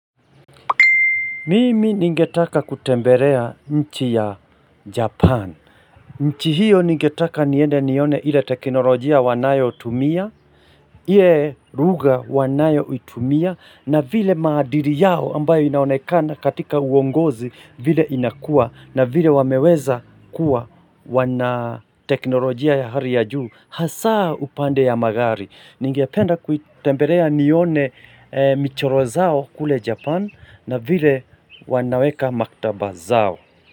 Mimi ningetaka kutembelea nchi ya Japan. Nchi hiyo ningetaka niende nione ile teknolojia wanayo tumia. iIe ruga wanayo utumia. Na vile madili yao ambayo inaonekana katika uongozi vile inakua. Na vile wameweza kuwa wana teknolojia ya hali ya juu. Hasaa upande ya magari. Ningependa kutemberea nione michoro zao kule Japan. Na vile wanaweka maktaba zao.